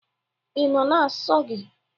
Ị nọọ na nsọ gị?